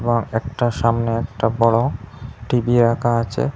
আর একটা সামনে একটা বড়ো টি_ভি রাখা আছে।